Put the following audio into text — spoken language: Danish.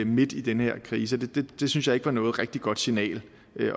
midt i den her krise det synes jeg ikke var noget rigtig godt signal